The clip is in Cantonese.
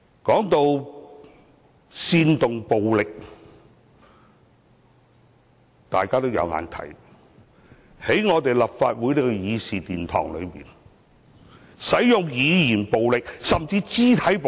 談到煽動暴力，大家有目共睹，是誰在立法會的議事堂內，使用語言暴力，甚至肢體暴力？